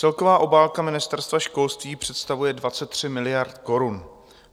Celková obálka Ministerstva školství představuje 23 miliard korun.